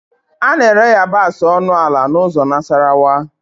A na-ere yabasị ọnụ ala n'ụzọ Nasarawa